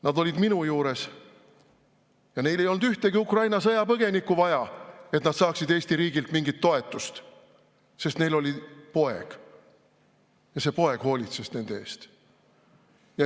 Nad olid minu juures ja neil ei olnud ühtegi Ukraina sõjapõgenikku vaja, et nad saaksid Eesti riigilt mingit toetust, sest neil oli poeg ja see poeg hoolitses nende eest.